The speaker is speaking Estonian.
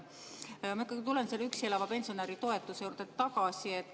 Ma ikkagi tulen selle üksi elava pensionäri toetuse juurde tagasi.